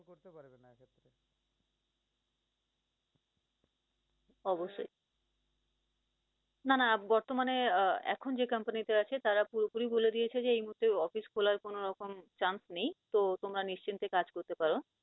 অবশ্যই না না বর্তমানে আহ এখন যে company তে আছে তারা পুরোপুরি বলে দিয়েছে যে এই মুহূর্তে office খোলার মত কোন রকম chance নেই তো তোমরা নিশ্চিন্তে কাজ করতে পারো।